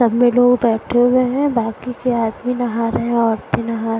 सब में लोग बैठे हुए है बाकी के आदमी नहा रहे हैं औरते नहा--